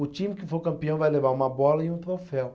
O time que for campeão vai levar uma bola e um troféu.